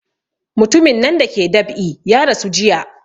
Mutumin nan da ke dab'i ya rasu jiya